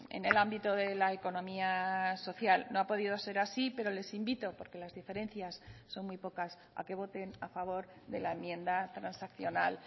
en el ámbito de la economía social no ha podido ser así pero les invito porque las diferencias son muy pocas a que voten a favor de la enmienda transaccional